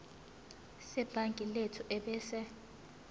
sebhangi lethu ebese